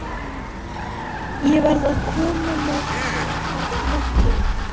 Ég verð að koma mér að verki.